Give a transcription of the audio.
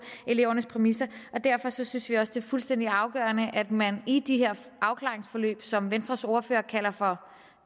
elevernes præmisser derfor synes vi også det fuldstændig afgørende at man i de her afklaringsforløb som venstres ordfører kalder for